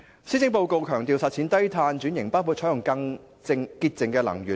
施政報告強調實踐低碳轉型，包括採用更潔淨能源。